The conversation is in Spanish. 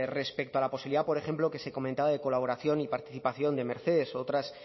respecto a la posibilidad por ejemplo que se comentaba de colaboración y participación de mercedes u otras